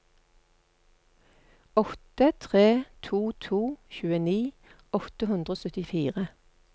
åtte tre to to tjueni åtte hundre og syttifire